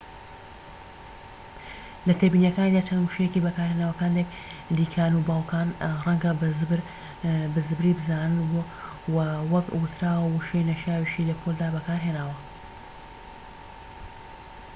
لە تێبینیەکانیدا چەند وشەیەکی بەکارهێناوە کە هەندێك دایکانوباوکان ڕەنگە بە زبری بزانن وە وەک وتراوە وشەی نەشیاویشی لە پۆلدا بەکارهێناوە